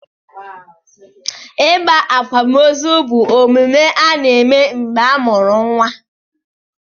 Ịgba akwamozu bụ omume a na-eme mgbe a mụrụ nwa.